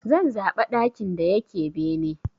Zan zaɓa ɗakin da yake bene.